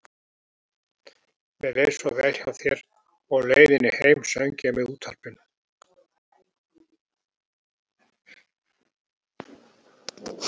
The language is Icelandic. Mér leið svo vel hjá þér og á leiðinni heim söng ég með útvarpinu.